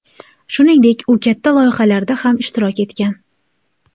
Shuningdek, u katta loyihalarda ham ishtirok etgan.